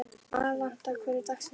Alanta, hver er dagsetningin í dag?